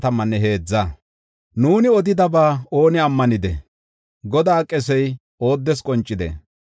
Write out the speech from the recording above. Nuuni odidaba ooni ammanidee? Godaa qesey ooddes qoncidee?